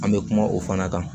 An bɛ kuma o fana kan